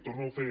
torno a fer